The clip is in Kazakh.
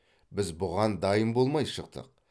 біз бұған дайын болмай шықтық